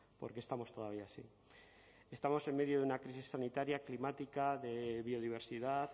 por qué estamos todavía así estamos en medio de una crisis sanitaria climática de biodiversidad